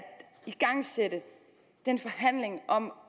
igangsætte den forhandling om